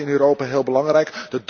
Dat blijft in Europa heel belangrijk.